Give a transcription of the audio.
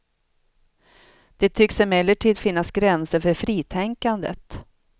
Det tycks emellertid finnas gränser för fritänkandet.